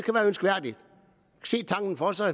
for sig